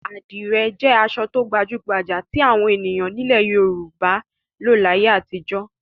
Àdìrẹ́ jẹ́ aṣọ tó gbajú-gbajà tí àwọn ènìyàn nílẹ̀ Yorùbá láyé àtijọ́.